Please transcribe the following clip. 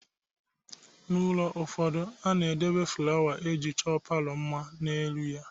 N'ụlọ ụfọdụ, a na-edebe fụlawa e ji chọọ palọ mma n'elu ya.